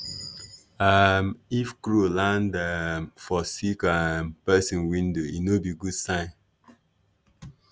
um if crow land um for sick um person window e no be good sign.